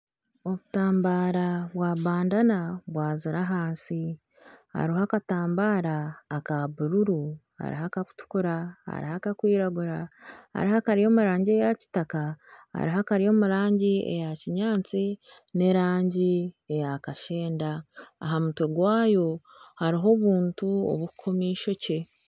Obutambara bwa bandana bwazire ahansi hariho akatambara aka bururu hariho aka kutukura hariho aka kwiragura hariho akari omu rangi eya kitaka hariho akari omu rangi eya kinyaatsi n'erangi eya kashenda aha mutwe gwayo hariho obuntu oburikukoma eishokye.